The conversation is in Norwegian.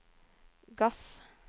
gass